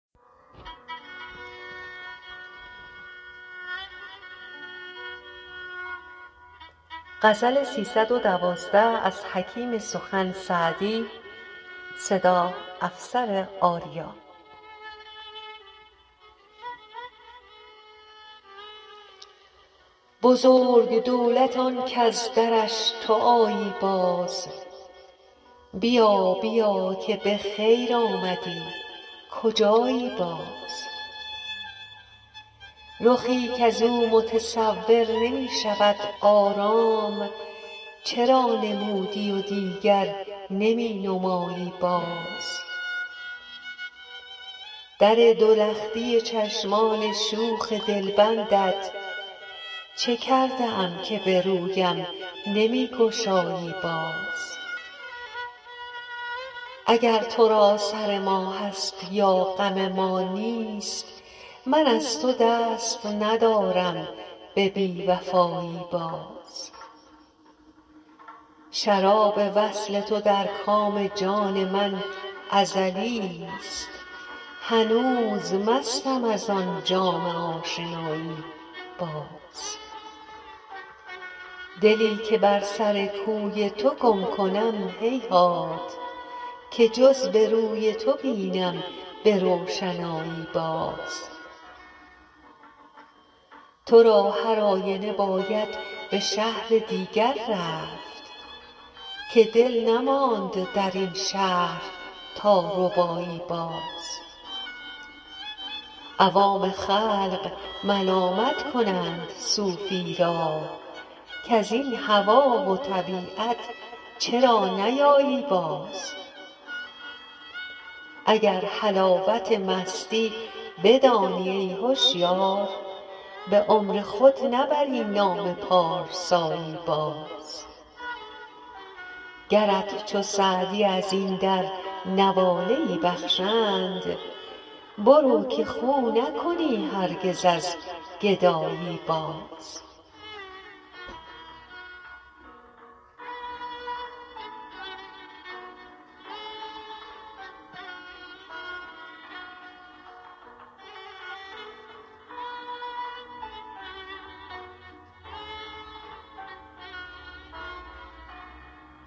بزرگ دولت آن کز درش تو آیی باز بیا بیا که به خیر آمدی کجایی باز رخی کز او متصور نمی شود آرام چرا نمودی و دیگر نمی نمایی باز در دو لختی چشمان شوخ دلبندت چه کرده ام که به رویم نمی گشایی باز اگر تو را سر ما هست یا غم ما نیست من از تو دست ندارم به بی وفایی باز شراب وصل تو در کام جان من ازلیست هنوز مستم از آن جام آشنایی باز دلی که بر سر کوی تو گم کنم هیهات که جز به روی تو بینم به روشنایی باز تو را هر آینه باید به شهر دیگر رفت که دل نماند در این شهر تا ربایی باز عوام خلق ملامت کنند صوفی را کز این هوا و طبیعت چرا نیایی باز اگر حلاوت مستی بدانی ای هشیار به عمر خود نبری نام پارسایی باز گرت چو سعدی از این در نواله ای بخشند برو که خو نکنی هرگز از گدایی باز